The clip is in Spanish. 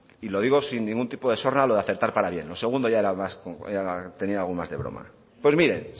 y lo digo sin ningún tipo de sorna lo de aceptar parabienes lo segundo tenía algo más de broma pues miren